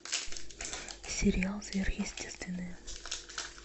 сериал сверхъестественное